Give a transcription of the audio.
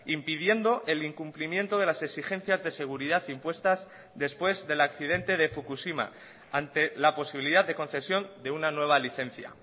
impidiendo el incumplimiento de las exigencias de seguridad impuestas después del accidente de fukushima ante la posibilidad de concesión de una nueva licencia